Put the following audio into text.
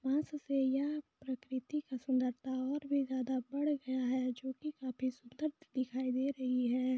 बांस से यह प्रकृति का सुन्दरता और भी बढ़ ज्यादा बढ़ गया है जो कि की काफी सुंदर दिखाई दे रही है।